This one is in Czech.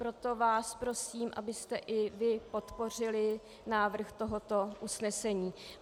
Proto vás prosím, abyste i vy podpořili návrh tohoto usnesení.